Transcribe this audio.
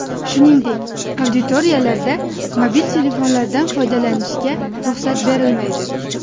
Shuningdek, auditoriyalarda mobil telefonlardan foydalanishga ruxsat berilmaydi.